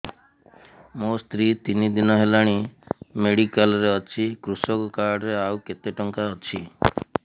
ମୋ ସ୍ତ୍ରୀ ତିନି ଦିନ ହେଲାଣି ମେଡିକାଲ ରେ ଅଛି କୃଷକ କାର୍ଡ ରେ ଆଉ କେତେ ଟଙ୍କା ଅଛି